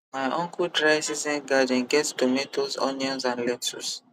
my uncle dry season garden get tomatoes onions and lettuce